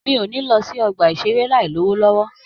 Mi o ni lọ sí ọgbà isere láì lowo lọwọ.